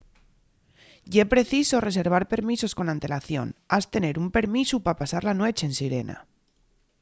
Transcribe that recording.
ye preciso reservar permisos con antelación has tener un permisu pa pasar la nueche en sirena